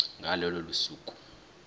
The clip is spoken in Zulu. ngalo lolo suku